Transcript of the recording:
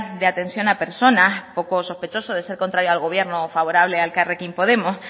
de atención a personas poco sospechoso de ser contrario al gobierno o favorable a elkarrekin podemos